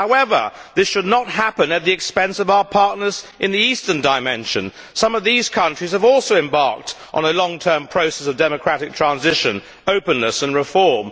However, this should not happen at the expense of our partners in the Eastern Dimension. Some of those countries have also embarked on a long term process of democratic transition, openness and reform.